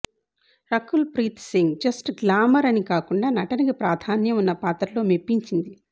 Rakul Preet Singh just glamour అని కాకుండా నటనకి ప్రాధాన్యం ఉన్న పాత్రలో మెప్పించింది